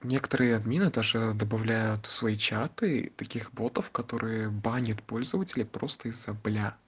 некоторые адмены даже добавляют в свои четыре таких ботов которые банят пользователя просто из-за бля